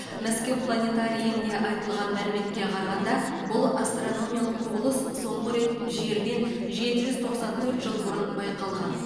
мәскеу планетарийінде айтылған мәліметке қарағанда бұл астрономиялық құбылыс соңғы рет жерден жеті жүз тоқсан төрт жыл бұрын байқалған